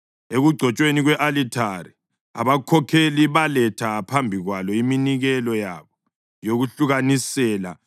Ekugcotshweni kwe-alithari, abakhokheli baletha phambi kwalo iminikelo yabo yokulahlukanisela.